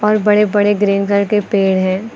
बड़े बड़े green colour के पेड़ हैं।